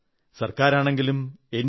ഗവൺമെന്റാണെങ്കിലും N